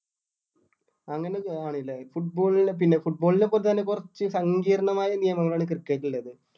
അങ്ങനൊക്കെ ആണില്ലേ football ല് പിന്നെ football ലെ പോലെ തന്നെ കുറച്ച് സങ്കീർണമായ നിയമങ്ങളാണ് cricket ൽ ഇള്ളത്.